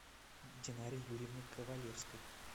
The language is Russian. динаре юрьевне ковалевской